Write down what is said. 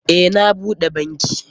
Eh, na bude banki.